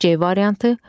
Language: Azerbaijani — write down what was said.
C variantı.